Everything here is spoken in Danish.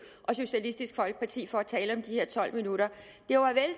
og socialistisk folkeparti for at tale om de her tolv minutter